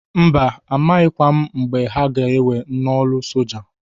Mba! A maghịkwa m mgbe a ga ewe n'ọlụ soja.